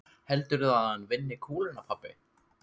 Heldurðu að hann vinni kúluna pabbi?